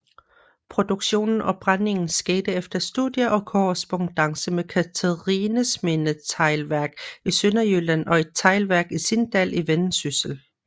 Produktionen og brændingen skete efter studier og korrespondance med Cathrinesminde Teglværk i Sønderjylland og et teglværk i Sindal i Vendsyssel